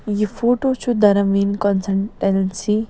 .یہِ فوٹوچُھ درم ویٖن کانسنٹرنسی